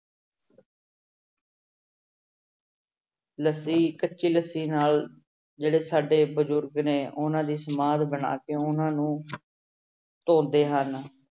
ਲੱਸੀ ਕੱਚੀ ਲੱਸੀ ਨਾਲ ਜਿਹੜੇ ਸਾਡੇ ਬਜ਼ੁਰਗ ਨੇ ਉਹਨਾਂ ਦੀ ਸਮਾਧ ਬਣਾ ਕੇ ਉਹਨਾਂ ਨੂੰ ਧੋਂਦੇ ਹਨ।